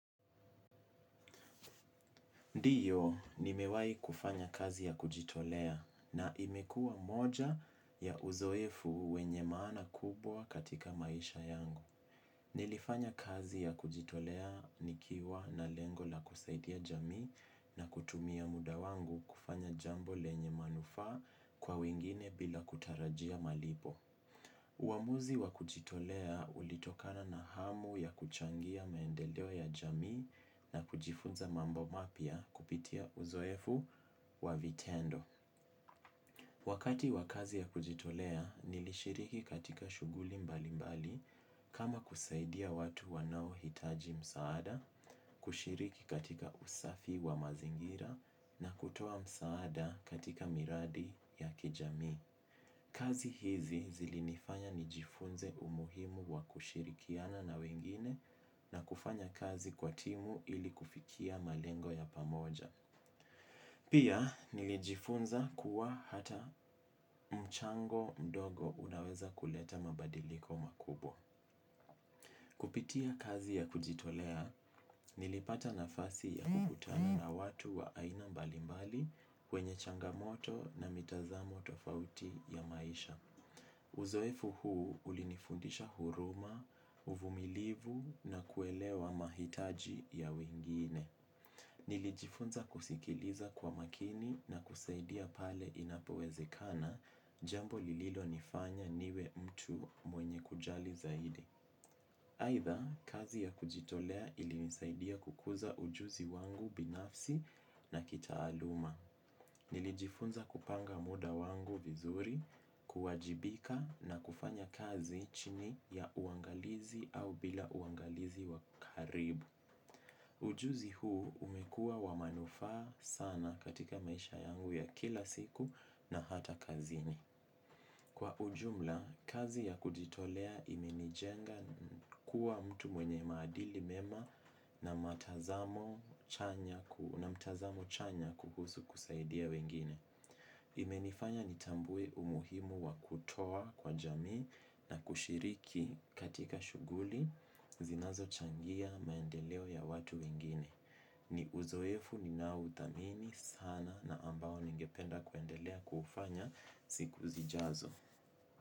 Ndio, nimewahi kufanya kazi ya kujitolea na imekuwa moja ya uzoefu wenye maana kubwa katika maisha yangu. Nilifanya kazi ya kujitolea nikiwa na lengo la kusaidia jamii na kutumia muda wangu kufanya jambo lenye manufaa kwa wengine bila kutarajia malipo. Uamuzi wa kujitolea ulitokana na hamu ya kuchangia maendeleo ya jamii na kujifunza mambo mapya kupitia uzoefu wa vitendo. Wakati wa kazi ya kujitolea, nilishiriki katika shughuli mbalimbali kama kusaidia watu wanaohitaji msaada, kushiriki katika usafi wa mazingira na kutoa msaada katika miradi ya kijamii. Kazi hizi zilinifanya nijifunze umuhimu wa kushirikiana na wengine na kufanya kazi kwa timu ili kufikia malengo ya pamoja. Pia nilijifunza kuwa hata mchango mdogo unaweza kuleta mabadiliko makubwa. Kupitia kazi ya kujitolea nilipata nafasi ya kukutana na watu wa aina mbalimbali wenye changamoto na mitazamo tofauti ya maisha. Uzoefu huu ulinifundisha huruma, uvumilivu na kuelewa mahitaji ya wengine. Nilijifunza kusikiliza kwa makini na kusaidia pale inapowezekana, jambo lililonifanya niwe mtu mwenye kujali zaidi. Aidha, kazi ya kujitolea ilinisaidia kukuza ujuzi wangu binafsi na kitaaluma. Nilijifunza kupanga muda wangu vizuri, kuwajibika na kufanya kazi chini ya uangalizi au bila uangalizi wa karibu. Ujuzi huu umekuwa wa manufaa sana katika maisha yangu ya kila siku na hata kazini. Kwa ujumla, kazi ya kujitolea imenijenga kuwa mtu mwenye maadili mema, na mtazamo chanya kuhusu kusaidia wengine. Imenifanya nitambue umuhimu wa kutoa kwa jamii na kushiriki katika shughuli zinazochangia maendeleo ya watu wengine. Ni uzoefu ninaouthamini sana na ambao ningependa kuendelea kuufanya siku zijazo.